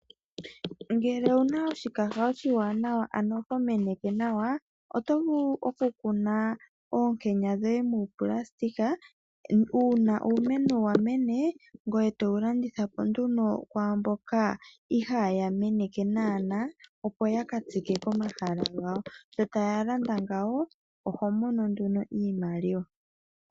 Ngele owuna oshikaha oshiwanawa ano ho meneke nawa otovulu okukuna oonkenya dhoye muunayilona uuna uumeno wamene ngoye towu landithapo nduno kwaamboka ihaya meneke naana opo yakatsike komahala gawo, sho taya landa ngawo oho mono nduno iimaliwa.